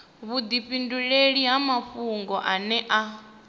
vhudifhinduleli ha mafhungo ane a